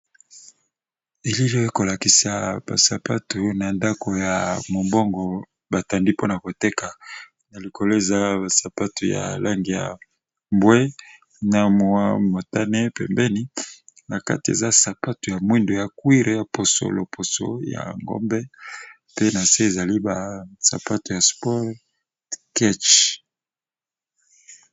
Elili ya kolakisa ba sapatu na ndaku ya mobongo batandi pona koteka na likolo eza ba sapatu ya lange ya mbwe na motane pembeni, nakati eza sapatu ya mwindo ya cuire ya poso loposo ya ngombe pe na se ezali ba sapatu ya sport cache.